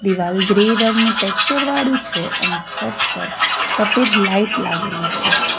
દિવાલ ગ્રે રંગના ટેક્સચર વાળું છે અને છત પર સફેદ લાઈટ લાગેલી છે.